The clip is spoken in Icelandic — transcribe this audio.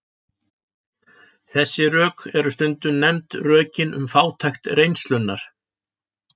Þessi rök eru stundum nefnd rökin um fátækt reynslunnar.